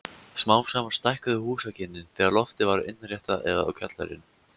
Smám saman stækkuðu húsakynnin þegar loftið var innréttað eða kjallarinn.